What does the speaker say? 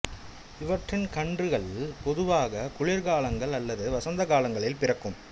இவற்றின் கன்றுகள் பொதுவாக குளிர் காலங்கள் அல்லது வசந்த காலங்களில் பிறக்கும்